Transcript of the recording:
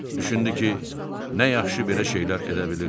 Düşündü ki, nə yaxşı belə şeylər edə bilir.